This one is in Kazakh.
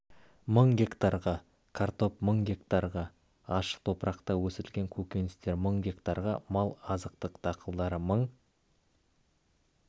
мың гектарға картоп мың гектарға ашық топырақта өсірілген көкөністер мың гектарға мал азықтық дақылдар мың